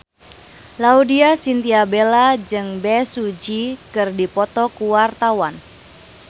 Laudya Chintya Bella jeung Bae Su Ji keur dipoto ku wartawan